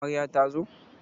Amarya ta zo?